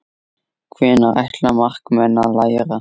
Hvenær ætla markmenn að læra?